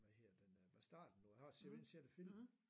Hvad hedder den øh Bastarden du har sikkert set filmen